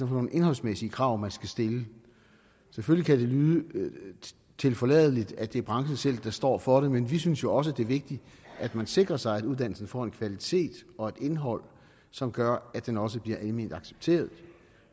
nogle indholdsmæssige krav man skal stille selvfølgelig kan det lyde tilforladeligt at det er branchen selv der står for det men vi synes jo også det er vigtigt at man sikrer sig at uddannelsen får en kvalitet og et indhold som gør at den også bliver alment accepteret